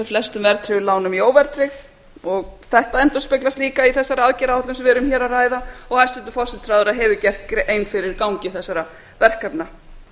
flestum verðtryggðum lánum í óverðtryggð og þetta endurspeglast líka í þeirri aðgerðaáætlun sem við erum hér að ræða og hæstvirtur forsætisráðherra hefur gert grein fyrir gangi þessara verkefna